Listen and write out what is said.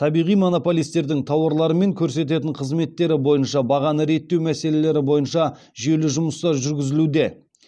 табиғи монополистердің тауарлары мен көрсететін қызметтері бойынша бағаны реттеу мәселелері бойынша жүйелі жұмыстар жүргізілуде